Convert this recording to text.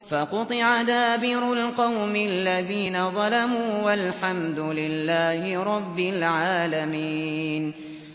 فَقُطِعَ دَابِرُ الْقَوْمِ الَّذِينَ ظَلَمُوا ۚ وَالْحَمْدُ لِلَّهِ رَبِّ الْعَالَمِينَ